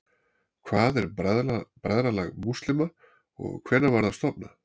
hvað er bræðralag múslíma og hvenær var það stofnað